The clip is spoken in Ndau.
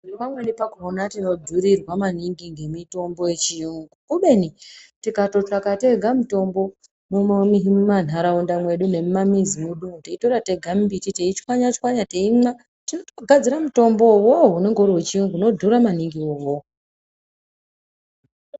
Pamweni pakona tinodhurirwa maningi nhemitombo yechiyungu, kubeni tikatotsvaga tega mitombo imwona mumantaraunda mwedu nemumamizi mwedu umu, teitora tega mumbiti teichwanya chwanya teimwa, totogadzira mutombo iwowowo unenge wechiyungu unodhura maningi iwowo.